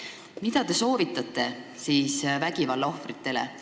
Aga mida te soovitate vägivalla ohvritele?